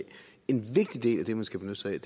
en vigtig del af det man skal benytte sig